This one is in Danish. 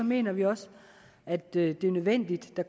mener vi også at det er nødvendigt at